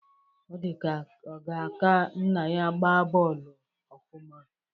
Ọ dịka ọ ga-aka nna ya gbaa bọọlụ ofụma